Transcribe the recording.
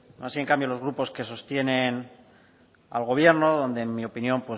no así en cambio los grupos que sostienen al gobierno donde en mi opinión